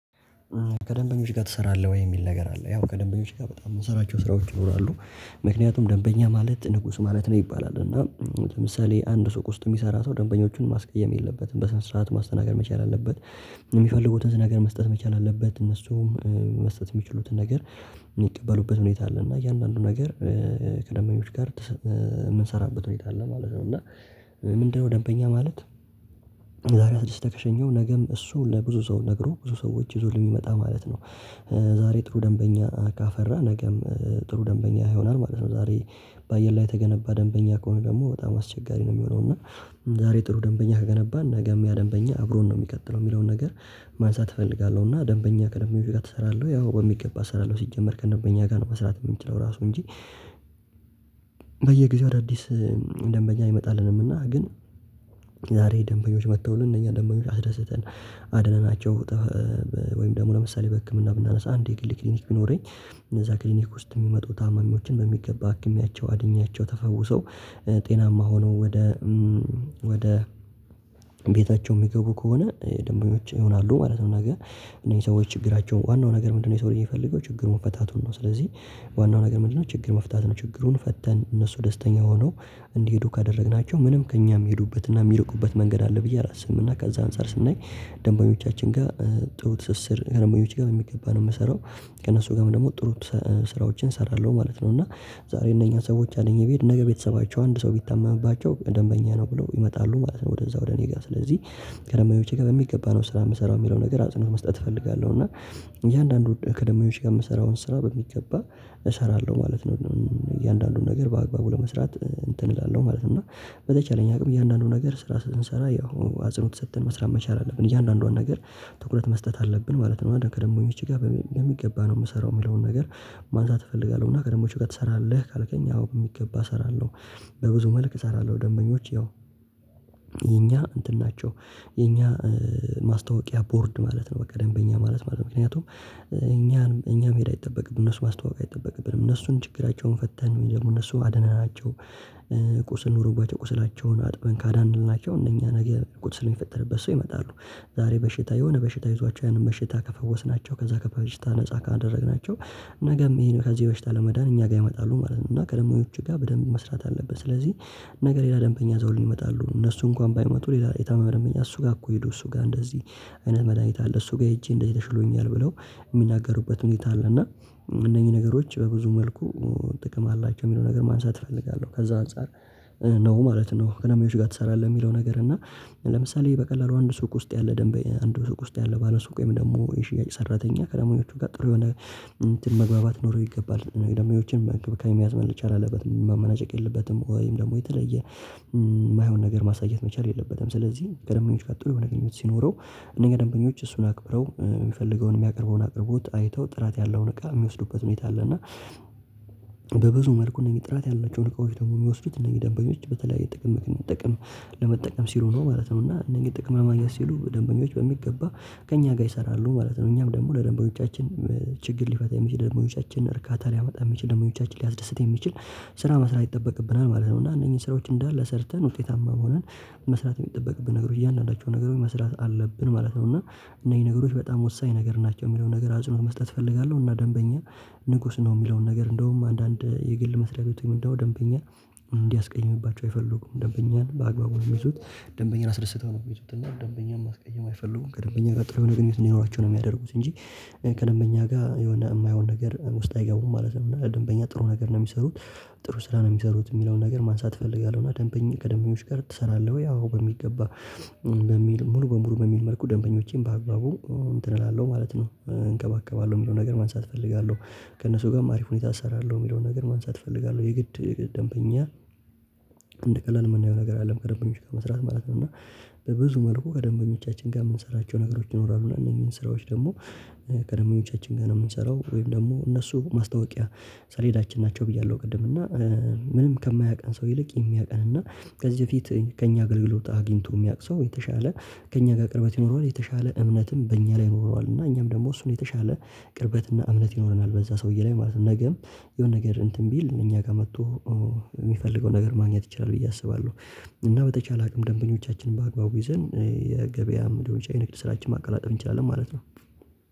ከደንበኞች ጋር ትሰራለህ ወይ? የሚል ነገር አለ ያው ከደንበኞች ጋር በጣም የምሰራቸው ስራዎች ይኖራሉ። ምክንያቱም ደንበኛ ማለት ንጉስ ማለት ነው ይባላል እና ለምሳሌ አንድ ሱቅ ውስጥ የሚሰራ ሰው ደንበኞቹን ማስቀየም የለበትም በስነ ስርዓት ማስተናገድ መቻል አለበት። የሚፈልጉትን ነገር መስጠት መቻል አለበት እነሱም መስጠት የሚችሉትን ነገር። የሚቀበሉበት ሁኔታ አለ እና እያንዳንዱ ነገር ከደንበኞች ጋር የምንሰራበት ሁኔታ አለ ማለት ነው። እና ምንድን ነው ደንበኛ ማለት? ዛሬ አስደስተህ ከሸኘኸው ነገም እሱ ለብዙ ሰው ነግሮ ብዙ ሰዎች ይዞልህ የሚመጣ ማለት ነው። ዛሬ ጥሩ ደንበኛ ካፈራህ ነገም ጥሩ ደንበኛ ይሆናል ማለት ነው። ዛሬ በአየር ላይ የተገነባ ደንበኛ ከሆነ ደግሞ በጣም አስቸጋሪ ነው የሚሆነው እና። ዛሬ ጥሩ ደንበኛ ከገነባን ነገም ያ ደንበኛ አብሮን ነው የሚቀጥለው የሚለውን ነገር። ማንሳት እፈልጋለሁ እና ደንበኛ ከደንበኞች ጋር ትሰራለህ አዎ በሚገባ እሰራለሁ። ሲጀመር ከደንበኛ ጋር ነው መስራት የምንችለው ራሱ እንጂ። በየጊዜው አዳዲስ ደንበኛ አይመጣልንም እና ግን። ዛሬ ደንበኞች መጥተውልን እነኛን ደንበኞች አስደስተን። አድነናቸው ወይም ደግሞ ለምሳሌ በህክምና ብናነሳ አንድ የግል ክሊኒክ ቢኖረኝ። እነዛ ክሊኒክ ውስጥ የሚመጡ ታማሚዎችን በሚገባ አክሜያቸው አድኛቸው ተፈውሰው ጤናማ ሆነው ወደ ወደ ቤታቸው የሚገቡ ከሆነ ደንበኞች ይሆናሉ ማለት ነው። ነገ እነዚህ ሰዎች ችግራቸው ዋናው ነገር ምንድን ነው? የሰው ልጅ የሚፈልገው ችግሩ መፈታቱን ነው። ስለዚህ ዋናው ነገር ምንድን ነው? ችግር መፍታት ነው። ችግሩን ፈተን እነሱ ደስተኛ ሆነው እንዲሄዱ ካደረግናቸው ምንም ከእኛም የሚሄዱበት እና የሚርቁበት መንገድ አለ ብዬ አላስብም። እና ከዛ አንፃር ስናይ ደንበኞቻችን ጋር ጥሩ ትስስር ከደንበኞች ጋር በሚገባ ነው የምሰራው። ከእነሱ ጋርም ደግሞ ጥሩ ስራዎችን እሰራለሁ ማለት ነው። እና ዛሬ እነኛ ሰዎች አድኜ ብሄድ ነገ ቤተሰባቸው አንድ ሰው ቢታመምባቸው ደንበኛ ነው ብለው ይመጣሉ ማለት ነው። ወደዛ ወደ እኔ ጋር ስለዚህ ከደንበኞቼ ጋር በሚገባ ነው ስራ የምሰራው የሚለውን ነገር አጽንኦት መስጠት እፈልጋለሁ። እና እያንዳንዱ ከደንበኞች ጋር የምሰራውን ስራ በሚገባ እሰራለሁ ማለት ነው። እያንዳንዱን ነገር በአግባቡ ለመስራት እንትን እላለሁ ማለት ነው። እና በተቻለኝ አቅም እያንዳንዱ ነገር ስራ ስንሰራ ያው አጽንኦት ሰጥተን መስራት መቻል አለብን እያንዳንዷን ነገር ትኩረት መስጠት አለብን ማለት ነው። ከደንበኞቼ ጋር በሚገባ ነው የምሰራው የሚለውን ነገር ማንሳት እፈልጋለሁ። እና ከደንበኞች ጋር ትሰራለህ ካልከኝ አዎ በሚገባ እሰራለሁ። በብዙ መልክ እሰራለሁ ደንበኞች ያው የኛ እንትን ናቸው የኛ ማስታወቂያ ቦርድ ማለት ነው። በቃ ደንበኛ ማለት ማለት ምክንያቱም እኛን እኛ መሄድ አይጠበቅብንም እነሱ ማስተዋወቅ አይጠበቅብንም እነሱን ችግራቸውን ፈተን ወይ ደግሞ እነሱ አድነናቸው። ቁስል ኑሮባቸው ቁስላቸውን አጥበን ካዳንልናቸው እነኛ ነገ ቁስል የሚፈጠርበት ሰው ይመጣሉ። ዛሬ በሽታ የሆነ በሽታ ይዟቸው ያንን በሽታ ከፈወስናቸው ከዛ ከበሽታ ነፃ ካደረግናቸው ነገም ይሄን ከዚህ በሽታ ለመዳን እኛ ጋር ይመጣሉ ማለት ነው። እና ከደንበኞች ጋር በደንብ መስራት አለብን። ስለዚህ ነገ ሌላ ደንበኛ ይዘውልን ይመጣሉ እነሱ እንኳን ባይመጡ ሌላ የታመመ ደንበኛ እሱ ጋር እኮ ሄዶ እሱ ጋር እንደዚህ አይነት መድሃኒት አለ እሱ ጋር ሄጄ እንደዚህ ተሽሎኛል ብለው የሚናገሩበት ሁኔታ አለ እና። እነኚህ ነገሮች በብዙ መልኩ ጥቅም አላቸው የሚለው ነገር ማንሳት እፈልጋለሁ። ከዛ አንፃር ነው ማለት ነው። ከደንበኞች ጋር ትሰራለህ? የሚለው ነገር እና ለምሳሌ በቀላሉ አንድ ሱቅ ውስጥ ያለ ደንበኛ አንድ ሱቅ ውስጥ ያለ ባለሱቅ ወይም ደግሞ የሽያጭ ሰራተኛ ከደንበኞቹ ጋር ጥሩ የሆነ እንትን መግባባት ሊኖረው ይገባል የደንበኞችን በእንክብካቤ መያዝ መቻል አለበት። ማመናጨቅ የለበትም ወይም ደግሞ የተለየ የማይሆን ነገር ማሳየት መቻል የለበትም። ስለዚህ ከደንበኞች ጋር ጥሩ የሆነ ግንኙነት ሲኖረው እነኛ ደንበኞች እሱን አክብረው የሚፈልገውን የሚያቀርበውን አቅርቦት አይተው ጥራት ያለውን እቃ የሚወስዱበት ሁኔታ አለ። እና በብዙ መልኩ እነኚህ ጥራት ያላቸውን እቃዎች ደግሞ የሚወስዱት እነኚህ ደንበኞች በተለያየ ጥቅም ጥቅም ለመጠቀም ሲሉ ነው ማለት ነው። እና እነኚህ ጥቅም ለማግኘት ሲሉ ደንበኞች በሚገባ ከእኛ ጋር ይሰራሉ ማለት ነው። እኛም ደግሞ ለደንበኞቻችን ችግር ሊፈታ የሚችል ደንበኞቻችን እርካታ ሊያመጣ የሚችል ደንበኞቻችን ሊያስደስት የሚችል ስራ መስራት ይጠበቅብናል ማለት ነው። እና እነኚህ ስራዎች እንዳለ ሰርተን ውጤታማ ሆነን መስራት የሚጠበቅብን ነገሮች እያንዳንዳቸው ነገሮች መስራት አለብን ማለት ነው። እና እነኚህ ነገሮች በጣም ወሳኝ ነገር ናቸው የሚለውን ነገር አጽንኦት መስጠት እፈልጋለሁ። እና ደንበኛ ንጉስ ነው የሚለውን ነገር እንደውም አንዳንድ የግል መስሪያ ቤት ወይም ደግሞ ደንበኛ እንዲያስቀይምባቸው አይፈልጉም ደንበኛን በአግባቡ ነው የሚይዙት። ደንበኛን አስደስተው ነው የሚይዙት እና ደንበኛን ማስቀየም አይፈልጉም ከደንበኛ ጋር ጥሩ የሆነ ግንኙነት እንዲኖራቸው ነው የሚያደርጉት እንጂ ከደንበኛ ጋር የሆነ የማይሆን ነገር ውስጥ አይገቡም ማለት ነው። እና ደንበኛ ጥሩ ነገር ነው የሚሰሩት። ጥሩ ስራ ነው የሚሰሩት የሚለውን ነገር ማንሳት እፈልጋለሁ። እና ደንበኛ ከደንበኞች ጋር ትሰራለህ ወይ? አዎ በሚገባ ለሚል ሙሉ በሙሉ በሚል መልኩ ደንበኞቼን በአግባቡ እንትን እላለሁ ማለት ነው እንከባከባለሁ የሚለውን ነገር ማንሳት እፈልጋለሁ። ከእነሱ ጋርም አሪፍ ሁኔታ እሰራለሁ የሚለውን ነገር ማንሳት እፈልጋለሁ። የግድ ደንበኛ እንደ ቀላል የምናየው ነገር አይደለም ከደንበኞች ጋር መስራት ማለት ነው። እና በብዙ መልኩ ከደንበኞቻችን ጋር የምንሰራቸው ነገሮች ይኖራሉ እና እነኚህን ስራዎች ደግሞ ከደንበኞቻችን ጋር ነው የምንሰራው ወይም ደግሞ እነሱ ማስታወቂያ ሰሌዳችን ናቸው። ብያለሁ ቅድም እና ምንም ከማያውቀን ሰው ይልቅ የሚያውቀን እና። ከዚህ በፊት ከእኛ አገልግሎት አግኝቶ የሚያውቅ ሰው የተሻለ ከእኛ ጋር ቅርበት ይኖረዋል። የተሻለ እምነትም በእኛ ላይ ይኖረዋል እና እኛም ደግሞ እሱን የተሻለ ቅርበት እና እምነት ይኖረናል በዛ ሰውዬ ላይ ማለት ነው። ነገም የሆነ ነገር እንትን ቢል እኛ ጋር መጥቶ የሚፈልገው ነገር ማግኘት ይችላል ብዬ አስባለሁ። እና በተቻለ አቅም ደንበኞቻችንን በአግባቡ ይዘን የገበያም ሊሆን ይችላል የንግድ ስራችን ማቀላጠፍ እንችላለን ማለት ነው።